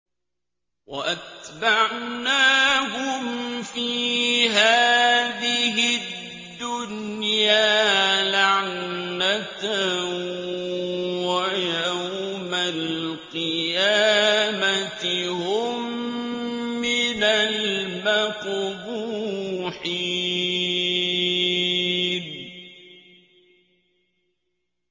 وَأَتْبَعْنَاهُمْ فِي هَٰذِهِ الدُّنْيَا لَعْنَةً ۖ وَيَوْمَ الْقِيَامَةِ هُم مِّنَ الْمَقْبُوحِينَ